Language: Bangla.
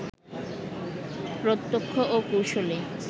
প্রত্যক্ষ ও কুশলী